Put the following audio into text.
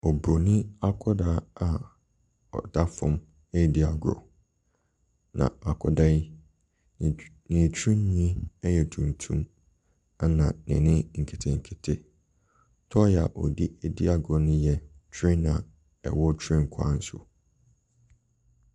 Obronii akwadaa a ɔda fam edi agorɔ na akwadaa yi ne tirinhwi yɛ tuntum ɛna n'ani nketenkete. Toy a ɔderedi agorɔ no yɛ train a ɛwɔ train kwan so.